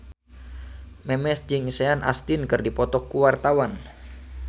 Memes jeung Sean Astin keur dipoto ku wartawan